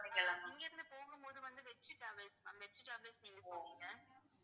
இங்க இருந்து போகும்போது வந்து வெற்றி டிராவல்ஸ் ma'am வெற்றி டிராவல்ஸ்ல நீங்க போவீங்க.